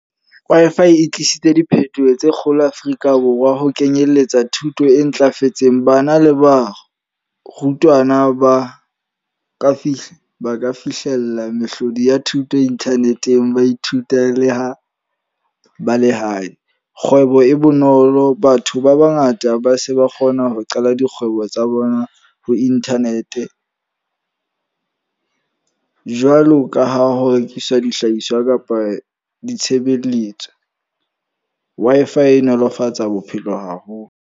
Wi-Fi e tlisitse diphethoho tse kgolo Afrika Borwa. Ho kenyeletsa thuto e ntlafetseng. Bana le ba rutwana ba ka fihla ba ka fihlella mehlodi ya thuto internet-eng, ba ithuta le ho ba lehae. Kgwebo e bonolo, batho ba bangata ba se ba kgona ho qala dikgwebo tsa bona ho internet. Jwalo ka ha ho rekisa dihlahiswa kapa ditshebeletso. Wi-Fi e nolofatsa bophelo haholo.